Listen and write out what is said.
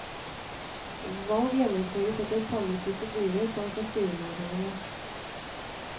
Valg gjennomføres etter samme prosedyre som for styremedlemmene.